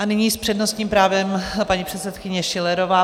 A nyní s přednostním právem paní předsedkyně Schillerová.